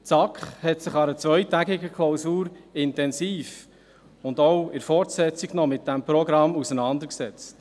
Die SAK hat sich im Rahmen einer zweitägigen Klausur und auch danach intensiv mit diesem Programm auseinandergesetzt.